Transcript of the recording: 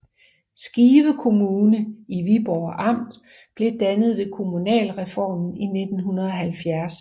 Skive Kommune i Viborg Amt blev dannet ved kommunalreformen i 1970